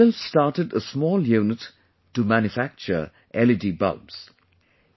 He himself started a small unit to manufacture LED bulbs